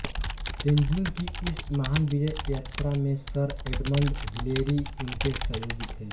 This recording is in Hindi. तेन्जिंग की इस महान विजय यात्रा में सर एडमंड हिलेरी उनके सहयोगी थे